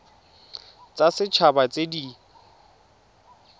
tsa set haba tse di